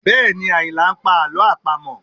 Bẹẹ̀ni, Ayinla ń pa àlọ́ àpamọ̀